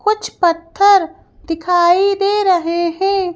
कुछ पत्थर दिखाई दे रहे हैं।